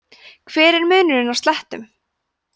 hver er munurinn á slettum